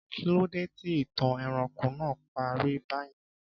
Kí ló dé tí ìtàn ẹranko náà parí bá yẹn